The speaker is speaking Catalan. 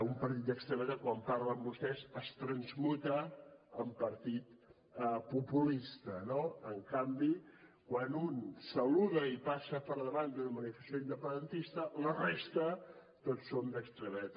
un partit d’extrema dreta quan pacta amb vostès es transmuta en partit populista no en canvi quan un saluda i passa per davant d’una manifestació independentista la resta tots som d’extrema dreta